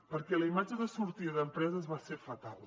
perquè la imatge de sortida d’empreses va ser fatal